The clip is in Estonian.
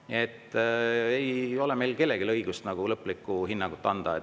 Nii et ei ole meil kellelgi õigust lõplikku hinnangut anda.